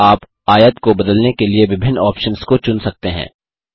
यहाँ आप आयत को बदलने के लिए विभिन्न ऑप्शन्स को चुन सकते हैं